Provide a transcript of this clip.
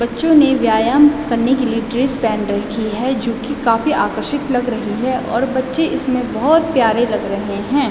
बच्चो ने व्यायाम करने के लिए ड्रेस पहन रखी है जो की काफी आकर्षित लग रही है और बच्चे इसमें बहोत प्यारे लग रहें हैं।